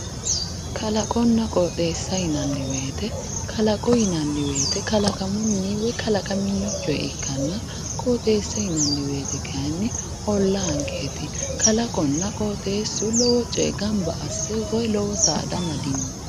Kalaqonna qooxeessa yinanni woyite, kalaqo yinanni woyite kalaqamunni woy kalaqami coye ikkanna, qooxeessa yinanni woyite kayinni ollaankeeti. Kalaqonna qooxeessu lowo coye gamba asse woy lowo saada amadino.